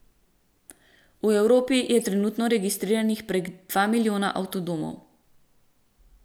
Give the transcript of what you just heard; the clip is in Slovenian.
V Evropi je trenutno registriranih prek dva milijona avtodomov.